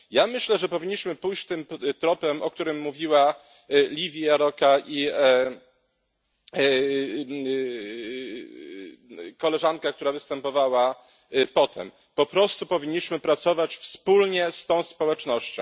Ja myślę, że powinniśmy pójść tym tropem, o którym mówiła Lívia Járóka i koleżanka, która występowała potem po prostu powinniśmy pracować wspólnie z tą społecznością.